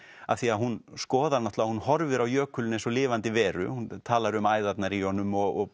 af því hún skoðar náttúrulega hún horfir á jökulinn eins og lifandi veru hún talar um æðarnar í honum og